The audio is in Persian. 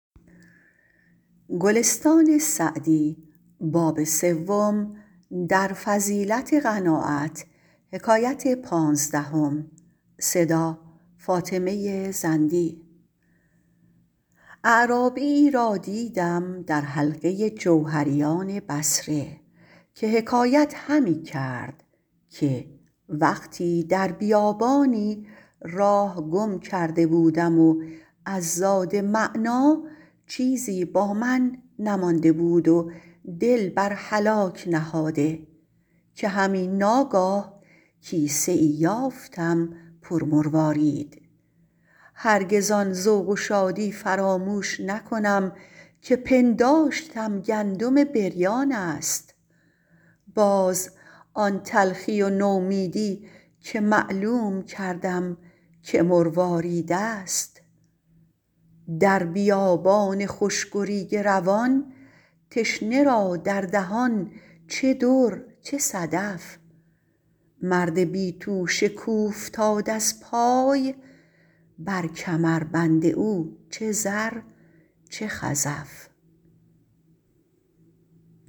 اعرابی را دیدم در حلقه جوهریان بصره که حکایت همی کرد که وقتی در بیابانی راه گم کرده بودم و از زاد معنیٰ چیزی با من نمانده بود و دل بر هلاک نهاده که همی ناگاه کیسه ای یافتم پر مروارید هرگز آن ذوق و شادی فراموش نکنم که پنداشتم گندم بریان است باز آن تلخی و نومیدی که معلوم کردم که مروارید است در بیابان خشک و ریگ روان تشنه را در دهان چه در چه صدف مرد بی توشه کاوفتاد از پای بر کمربند او چه زر چه خزف